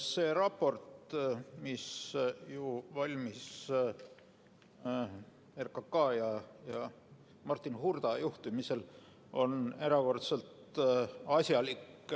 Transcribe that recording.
See raport, mis valmis RKK ja Martin Hurda juhtimisel, on erakordselt asjalik.